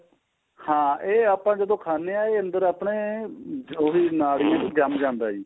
ਹਾਂ ਇਹ ਆਪਾਂ ਜਦੋਂ ਖਾਨੇ ਹਾਂ ਇਹ ਅੰਦਰ ਆਪਣੇ ਜੋ ਵੀ ਨਾੜੀ ਏ ਉਹਦੇ ਚ ਜੰਮ ਜਾਂਦਾ ਏ ਜ਼ੀ